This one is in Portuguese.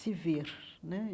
se ver né.